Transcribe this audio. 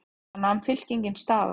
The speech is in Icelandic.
Þar nam fylkingin staðar.